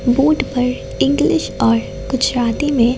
board पर English और गुजराती में--